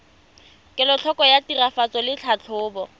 kelotlhoko ya tiragatso le tlhatlhobo